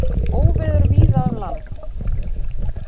Óveður víða um land